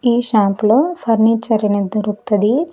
ఈ షాప్ లో ఫర్నిచర్ అనేది దొరుకుతది.